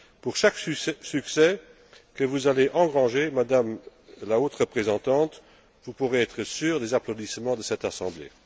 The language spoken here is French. Pour chaque succès que vous allez engranger, Madame la Haute représentante, vous pourrez être assurée des applaudissements de cette Assemblée.